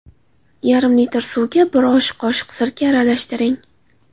Yarim litr suvga bir osh qoshiq sirka aralashtiring.